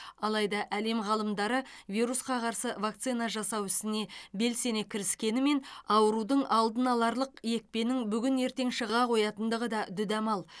алайда әлем ғалымдары вирусқа қарсы вакцина жасау ісіне белсене кіріскенімен аурудың алдын аларлық екпенің бүгін ертең шыға қоятындығы да дүдамал